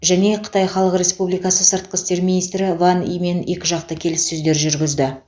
және қытай халық республикасы сыртқы істер министрі ван имен екіжақты келіссөздер жүргізді